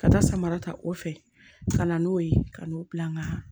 Ka taa samara ta o fɛ ka na n'o ye ka n'u bila nga